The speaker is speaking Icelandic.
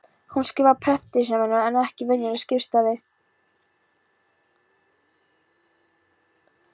Hún skrifar prentstafi en ekki venjulega skrifstafi.